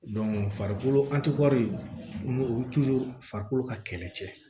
farikolo an ti wɔri n'u farikolo ka kɛlɛ cɛ